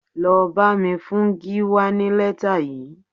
Lọ bá mi fún Gíwá ní lẹ́tà yìí